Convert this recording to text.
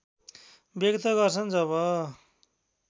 व्यक्त गर्छन् जब